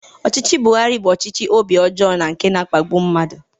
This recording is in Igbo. Ọchịchị Buhari bụ ọchịchị obi ọjọọ na nke na-akpagbu mmadụ.